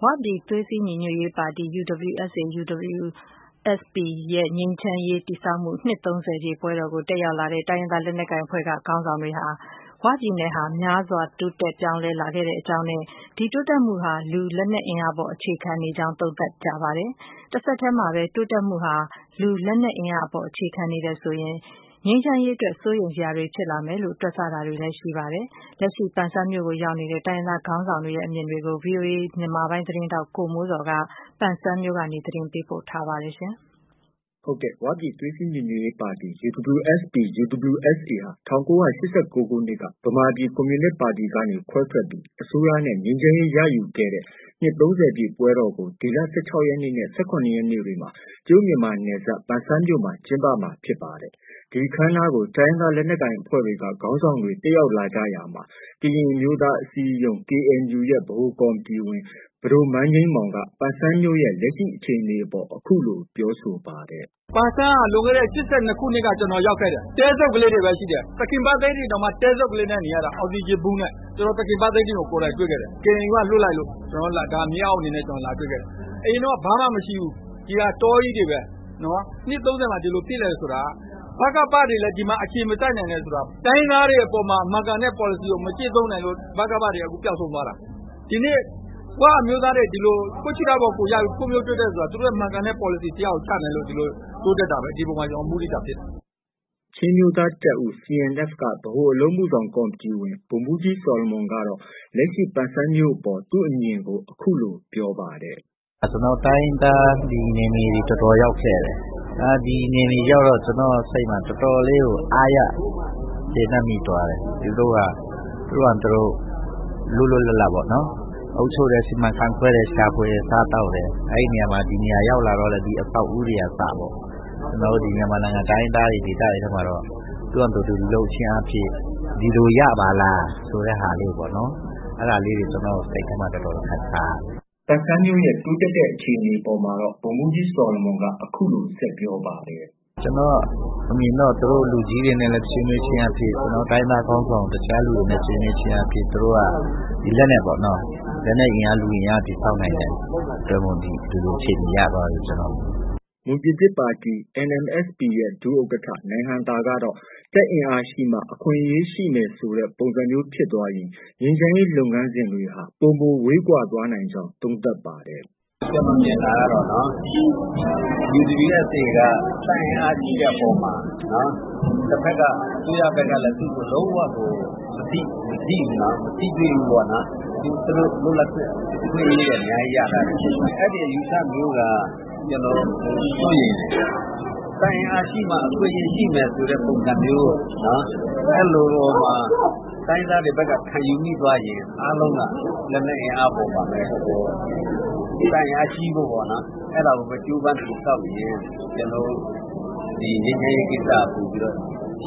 ဝပြည်သွေးစည်း ညီညွတ်ရေးပါတီ UWSP/UWSA ရဲ့ ငြိမ်းချမ်းရေးတည်ဆောက်မှု နှစ် ၃၀ ပြည့်ပွဲတော်ကို တက်ရောက်လာတဲ့ တိုင်းရင်းသား လက်နက်ကိုင်အဖွဲ့က ခေါင်းဆောင်တွေဟာ ဝပြည်နယ်ဟာများစွာ ပြောင်းလဲ တိုးတက်လာခဲ့ကြောင်းနဲ့ ဒီတိုးတက်မှုဟာ လူ၊ လက်နက်အင်အားအပေါ် အခြေခံနေကြောင်း သုံးသပ်တာတွေ ရှိနေပါတယ်။ တဆက်တည်းမှာပဲ တိုးတက်မှုဟာ လူ၊ လက်နက်အင်အားအပေါ် အခြေခံနေတယ်ဆိုရင် ငြိမ်းချမ်းရေးအတွက် စိုးရိမ်စရာတွေဖြစ်လာမယ်လို့ တွက်ဆတာတွေလည်း ရှိနေပါတယ်။ လက်ရှိ ပန်ဆန်းမြို့ကို ရောက်ရှိနေတဲ့ တိုင်းရင်းသားခေါင်းဆောင်တွေရဲ့ အမြင်တွေကို ဗွီအိုအေသတင်းထောက် ကိုမိုးဇော်က ပန်ဆန်းမြို့နေ သတင်းပေးပို့ထားပါတယ်။ ဝပြည်သွေးစည်းညီညွတ်ရေးပါတီ ဟာ ၁၉၈၉ ခုနှစ်က ဗမာပြည် ကွန်မြူနစ်ပါတီက ခွဲထွက် အစိုးရနဲ့ ငြိမ်းချမ်းရေးရယူခဲ့တဲ့ နှစ် ၃၀ ပြည့်ပွဲတော်ကို ဒီလ ၁၆ရက်နဲ့ ၁၇ ရက်နေ့တွေမှာ တရုတ်မြန်မာနယ်စပ် ပန်ဆန်းမြို့မှာ ကျင်းပမှာဖြစ်ပါတယ်။ ဒီအခမ်းအနားကို တိုင်းရင်းသား လက်နက်ကိုင်အဖွဲ့တွေက ခေါင်းဆောင်တွေ တက်ရောက်လာကြရာမှာ ကရင်အမျိုးသား အစည်းအရုံးရဲ့ ဗဟိုကော်မတီဝင် ပဒိုမန်းငြိမ်းမောင်က ပန်ဆန်းမြို့ရဲ့ လက်ရှိအခြေအနေအပေါ် အခုလို ပြောဆိုပါတယ်။ “ပန်ဆန်းက လွန်ခဲ့တဲ့ ၈၂ ခုနှစ်က ကျနော်ရောက်ခဲ့တယ်။ တဲစုတ်လေးတွေပဲ ရှိတယ်။ သခင်ဗသိန်းတင်တောင်မှ တဲစုတ်လေးနဲ့ နေရတာ။ အောက်စီဂျင်ဗူးနဲ့။ ကျနော် သခင်ဗသိန်းတင်ကို ကိုယ်တိုင်တွေ့ခဲ့တယ်။ KNU က လွှတ်လို့ မြေအောက်အနေနဲ့ လာတွေ့ခဲ့တာ။ အရင်တုံးက ဘာမှ မရှိဘူး။ ဒီဟာ တောကြီးတွေပဲ။ နှစ် ၃၀မှာ ဒီလိုဖြစ်လာတယ်ဆိုတာ ဗကပတွေလည်း ဒီမှာ အခြေမစိုက်နိုင်တယ်ဆိုတာ တိုင်းရင်းသားတွေအပေါ်မှာ မှန်ကန်တဲ့ ပေါ်လစီကို မကျင့်သုံးနိုင်လို့ ဗကပတွေ အခုပျောက်ဆုံးသွားတာ။ ဒီနေ့ ၀ အမျိုးသားတွေ ဒီလို ကိုယ့်ခြေထောက်ပေါ် ကိုယ်ရပ်ပြီး ဖွံ့ဖြိုးတိုးတက်တယ်ဆိုတာ သူတို့ရဲ့ မှန်ကန်တဲ့ ပေါ်လစီတစ်ရပ်ကို ချမှတ်နိုင်လို့ ဒီလိုတိုးတက်တာပဲ။ ဒီအပေါ်မှာ ကျနော် မုဒိတာ ဖြစ်တယ်။” ချင်း အမျိုးသားတပ်ဦး CNF က ဗဟိုအလုပ်အမှုဆောင် ကော်မတီဝင် ဗိုလ်မှူးကြီး ဆော်လမွန်ကတော့ လက်ရှိ ပန်ဆန်းမြို့အပေါ် သူ့အမြင်ကို အခုလို ပြောပါတယ်။ “ကျနော် တိုင်းရင်းသားနယ်မြေတွေ တော်တော်ရောက်ခဲ့တယ်။ ဒီနယ်မြေရောက်တော့ ကျနော့်စိတ်မှာ တော်တော်လေးကို အားရ ကျေနပ်မိသွားတယ်။ သူတို့ဟာ သူတို့ လွတ်လွတ်လပ်လပ်ပေါ့နော်။ အုပ်ချုပ်တယ်။ စီမံခန့်ခွဲတယ်။ ရှာဖွေတယ်။ စားသောက်တယ်။ အဲဒီနေရာမှာ ဒီနေရာ ရောက်လာတော့လည်း အဆောက်အဦးတွေက အစပေါ့။ ကျနော်တို့ မြန်မာနိုင်ငံတိုင်းရင်းသားတွေ ဒေသတွေထဲမှာတော့ သူဟာသူ လုပ်ခြင်းအားဖြင့် ဒီလို ရပါလားဆိုတဲ့ဟာပေါ့နော်။ အဲဒါလေးတွေ ကျနော့် စိတ်ထဲမှာ တော်တော်ခံစားရတယ်။” ပန်ဆန်းမြို့ရဲ့ တိုးတက်တဲ့အခြေအနေအပေါ်မှာတော့ ဗိုလ်မှူးကြီးဆော်လမွန်က အခုလို ဆက်ပြောပါတယ်။ “ကျနော့် အမြင်တော့ သူတို့ လူကြီးတွေနဲ့လည်း ဆွေးနွေးခြင်းအားဖြင့် ကျနော်တို့ တိုင်းရင်းသားခေါင်းဆောင် တခြားသူတွေနဲ့ ဆွေးနွေးခြင်းအားဖြင့် သူတို့က လက်နက်ပေါ့နော်.... လက်နက်အင်အား၊ လူအင်အား တည်ဆောက်နိုင်တဲ့ အတွက်ကြောင့် ဒီလို အခြေအနေရသွားတယ်လို့ ကျနော်မြင်တယ်။ ” မွန်ပြည်သစ်ပါတီ NMSP ရဲ့ ဒုဥက္ကဋ္ဌ နိုင်ဟံသာကတော့ တပ်အင်အားရှိမှ အခွင့်အရေးရှိမယ်ဆိုတဲ့ ပုံစံမျိုးဖြစ်သွားရင် ငြိမ်းချမ်းရေး လုပ်ငန်းစဉ်တွေဟာ ပိုမိုဝေးကွာသွားနိုင်ကြောင်း သုံးသပ်ပါတယ်။ “ကျနော်မြင်တာတော့ UWSA က တပ်အင်အားရှိတဲ့အပေါ်မှာ တစ်ဘက်က အစိုးရဘက်ကလည်း သူ့ကို လုံး၀ မထိဘူးနော်။ မထိတွေ့ဘူးပေါ့နော်။ သူတု့ိလွတ်လပ်ခွင့် အခွင့်အရေးတွေ အများကြီး ရထားတယ်။ အဲဒီ အယူအဆမျိုးက ကျနော်တို့ စိုးရိမ်တယ်။ တပ်အင်အားရှိမှ အခွင့်အရေးရှိမယ်ဆိုတဲ့ ပုံစံမျိုး တိုင်းရင်းသားတွေဘက်က ခံယူမိသွားရင် အားလုံးက လက်နက်အင်အားအပေါ်မှာပဲ။ တပ်အင်အားကြီးဖို့ ပေါ့နော် အဲဒါကိုပဲ ကြိုးပမ်းတည်ဆောက်ရင် ငြိမ်းချမ်းရေးကိစ္စက ပိုပြီး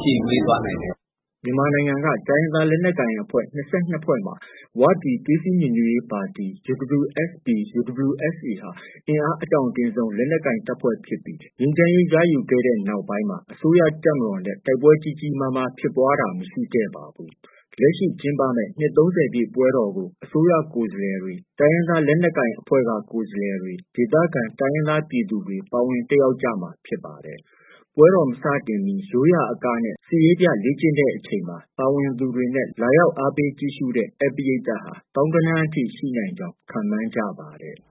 ရှည်ဝေးသွားနိုင်တယ်။ ” မြန်မာနိုင်ငံက တိုင်းရင်းသားလက်နက်ကိုင်အဖွဲ့ ၂၂ မှာ ဝပြည် သွေးစည်းညီညွတ်ရေး ပါတီ ဟာ အင်အားအတောင့်တင်းဆုံး လက်နက်ကိုင်တပ်ဖွဲ့ဖြစ်ပြီး ငြိမ်းချမ်းရေးရယူပြီးနောက်ပိုင်းမှာ အစိုးရတပ်မတော်နဲ့ တိုက်ပွဲကြီးကြီးမားမား ဖြစ်ပွားခဲ့တာ မရှိခဲ့ပါဘူး။ လက်ရှိ ကျင်းပမယ့် နှစ် ၃၀ပြည့် ပွဲတော်ကို အစိုးရ ကိုယ်စားလှယ်တွေ၊ တိုင်းရင်းသား လက်နက်ကိုင် အဖွဲ့က ကိုယ်စားလှယ်တွေ၊ ဒေသခံ တိုင်းရင်းသားပြည်သူတွေ ပါဝင်တက်ရောက်မှာ ဖြစ်ပါတယ်။ ပွဲတော် မစတင်မီ ရိုးရာအကနဲ့ စစ်ရေးပြ လေ့ကျင့်တဲ့အချိန်မှာ ပါဝင်သူတွေနဲ့ လာရောက်အားပေးကြည့်ရှုတဲ့ ဧည့်ပရိသတ်ဟာ သောင်းဂဏန်းအထိ ရှိနိုင်ကြောင်း ခန့်မှန်းကြပါတယ်။